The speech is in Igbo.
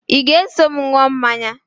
Ị ga-eso m ṅụọ mmanya?